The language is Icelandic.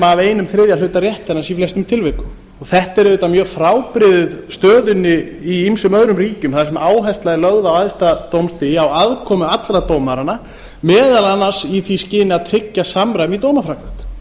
af einum þriðja hluta réttarins í flestum tilvikum þetta er auðvitað mjög frábrugðið stöðunni í ýmsum öðrum ríkjum þar sem áhersla er lögð á æðsta dómstigi á aðkomu allra dómaranna meðal annars í því skyni að tryggja samræmi